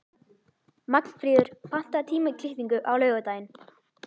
Magnfríður, pantaðu tíma í klippingu á laugardaginn.